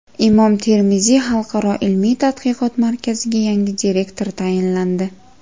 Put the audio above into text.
Imom Termiziy xalqaro ilmiy-tadqiqot markaziga yangi direktor tayinlandi.